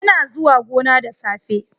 Yana zuwa gona da safe.